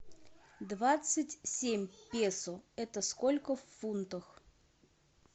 двадцать семь песо это сколько в фунтах